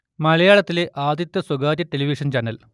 മലയാളത്തിലെ ആദ്യത്തെ സ്വകാര്യ ടെലിവിഷൻ ചാനൽ